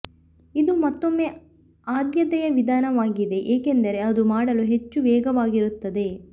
ಇದು ಮತ್ತೊಮ್ಮೆ ಆದ್ಯತೆಯ ವಿಧಾನವಾಗಿದೆ ಏಕೆಂದರೆ ಅದು ಮಾಡಲು ಹೆಚ್ಚು ವೇಗವಾಗಿರುತ್ತದೆ